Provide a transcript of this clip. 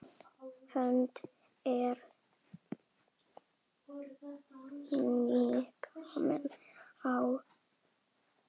Hödd: Ertu nýkominn á æfingu?